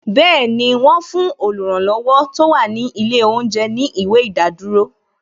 Bẹẹni, wọn fún oluranlowo tó wà ní ilé oúnjẹ ní ìwé ìdádúró